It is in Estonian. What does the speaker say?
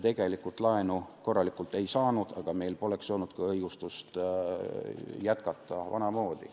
Tegelikult me laenu korralikult ei saanud, aga meil poleks olnud võimalik leida ka õigustust sellele, et jätkata vanamoodi.